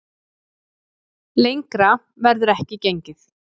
Lengra verður ekki gengið